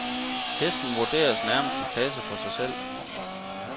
Hesten vurderes nærmest i klasse for sig selv.